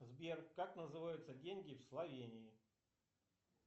сбер как называются деньги в словении